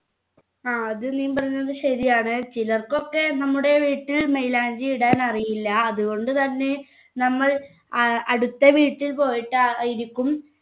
ആ അത് നീ പറഞ്ഞത് ശരിയാണ് ചിലർക്കൊക്കെ നമ്മുടെ വീട്ടിൽ മൈലാഞ്ചി ഇടാൻ അറിയില്ല അതുകൊണ്ട് തന്നെ നമ്മൾ ഏർ അടുത്ത വീട്ടിൽ പോയിട്ട് ഏർ ആയിരിക്കും